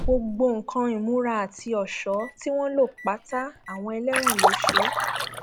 gbogbo nǹkan ìmúra àti ọṣọ tí wọn lò pátá àwọn ẹlẹwọn ló ṣe é